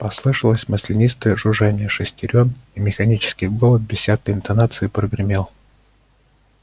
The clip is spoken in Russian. послышалось маслянистое жужжание шестерён и механический голос без всякой интонации прогремел